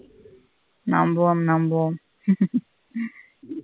நம்புவோம் நம்புவோம் .